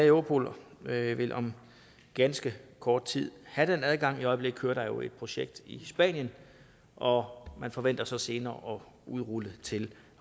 europol vil om ganske kort tid have den adgang i øjeblikket kører der jo et projekt i spanien og man forventer så senere at udrulle det til